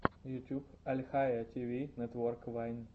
ютюб альхайя ти ви нетвок вайн